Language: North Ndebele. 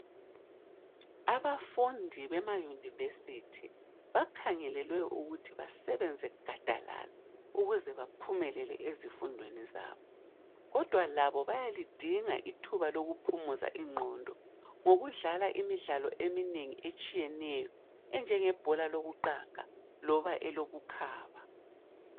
Abafundi bema university bakhangelwe ukuthi basebenze gadalala ukuze baphumelele ezifundweni zabo kodwa labo bayalidinga ithuba lokuphumuza ingqondo ngokudlala imidlalo eminengi etshiyeneyo enjenge bhola lokuqaga loba elokukhaba.